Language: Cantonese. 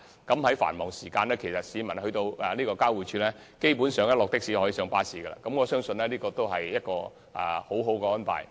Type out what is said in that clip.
市民在繁忙時間如果乘的士到公共運輸交匯處，基本上可即時轉乘穿梭巴士，我相信這是一項很好的安排。